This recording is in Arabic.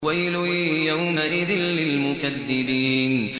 وَيْلٌ يَوْمَئِذٍ لِّلْمُكَذِّبِينَ